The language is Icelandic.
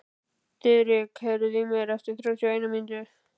Diðrik, heyrðu í mér eftir þrjátíu og eina mínútur.